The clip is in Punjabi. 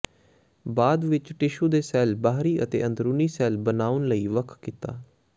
ਬਾਅਦ ਵਿਚ ਟਿਸ਼ੂ ਦੇ ਸੈੱਲ ਬਾਹਰੀ ਅਤੇ ਅੰਦਰੂਨੀ ਸ਼ੈੱਲ ਬਣਾਉਣ ਲਈ ਵੱਖ ਕੀਤਾ